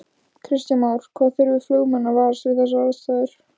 Kristján Már: Hvað þurfa flugmenn að varast við þessar aðstæður?